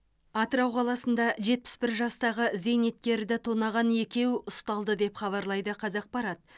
атырау қаласында жетпіс бір жастағы зейнеткерді тонаған екеу ұсталды деп хабарлайды қазақпарат